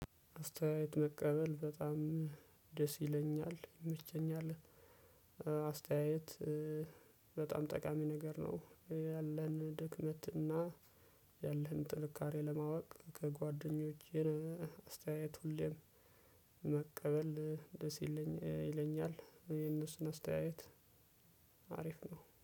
አስተየየት መቀበል በጣም ደስ ይለኛል ይመቸኛል። አስተያየት በጣም ጠቃሚ ነገር ነው። ያለህን ድክመት እና ያለህን ጥንካሬ ለማወቅ ከጓደኞችህ አስተያየት ሁሌም መቀበል ደስ ይለኝ ይለኛል። የእነሱን አስተያየት። አሪፍ ነው